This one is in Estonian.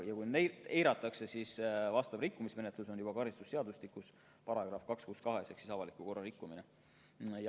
Kui neid eiratakse, siis sellekohane rikkumismenetlus on kirjas karistusseadustiku §-s 262 "Avaliku korra rikkumine".